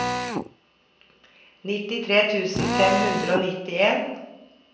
nittitre tusen fem hundre og nittien